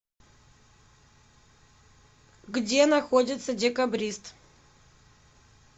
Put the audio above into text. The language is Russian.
где находится декабрист